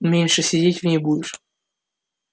меньше сидеть в ней будешь